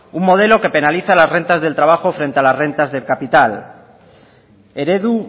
un modelo que penaliza las rentas del trabajo frente a las rentas del capital eredu